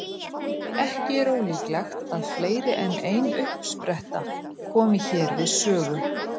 Ekki er ólíklegt að fleiri en ein uppspretta komi hér við sögu.